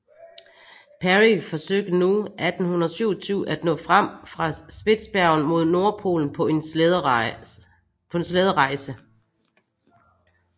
Parry forsøgte nu 1827 at nå frem fra Spitsbergen mod Nordpolen på en slæderejse